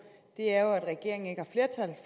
er jo at regeringen ikke